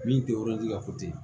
Min tɛ ka